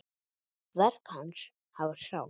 Verk hans hafa sál.